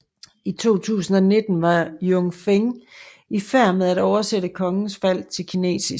I 2019 var Jun Feng i færd med at oversætte Kongens Fald til kinesisk